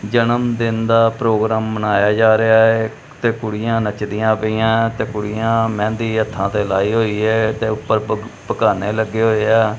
ਜਨਮਦਿਨ ਦਾ ਪ੍ਰੋਗਰਾਮ ਮਨਾਇਆ ਜਾ ਰਿਹਾ ਹੈ ਤੇ ਕੁੜੀਆਂ ਨੱਚਦੀਆਂ ਪਈਆਂ ਤੇ ਕੁੜੀਆਂ ਮਹਿੰਦੀ ਹੱਥਾਂ ਤੇ ਲਾਈ ਹੋਈ ਹੈ ਤੇ ਊਪਰ ਪੱਘ ਪਘਾਨੇਂ ਲੱਗੇ ਹੋਏ ਆ।